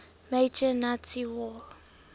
major nazi war